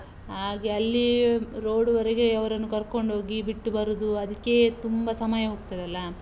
ಹಾಗೆ ಅಲ್ಲಿ road ವರೆಗೆ ಅವ್ರನ್ನು ಕರ್ಕೊಂಡ್ ಹೋಗಿ ಬಿಟ್ಟು ಬರುದು ಅದ್ಕೇ ತುಂಬಾ ಸಮಯ ಹೋಗ್ತದಲ್ಲಾ.